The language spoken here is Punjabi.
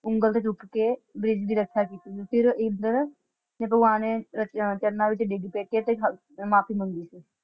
ਉਂਗਲ ਤੇ ਚੂਕ ਕੇ ਬ੍ਰਿਜ ਦੀ ਰੱਖਿਆ ਕਿੱਤੀ ਸੀ। ਫਿਰ ਇੰਦਰ ਨੇ ਭਗਵਾਨ ਦੇ ਰਚ~ ਚਰਨਾਂ ਵਿਚ ਡਿਗ ਪਏ ਦੀ ਤੇ ਮਾਫੀ ਮੰਗੀ ਸੀ।